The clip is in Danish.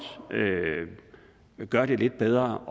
kan gøre det lidt bedre